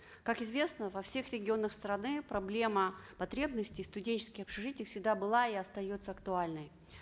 как известно во всех регионах страны проблема потребности студенческих общежитий всегда была и остается актуальной